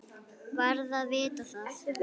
Varð að vita það.